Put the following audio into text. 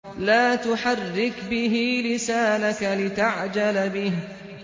لَا تُحَرِّكْ بِهِ لِسَانَكَ لِتَعْجَلَ بِهِ